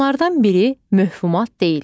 Bunlardan biri mövhumat deyil.